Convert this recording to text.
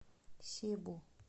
себу